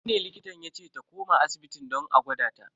Jibi ne likitan yace ta koma asibitin don a gwada ta.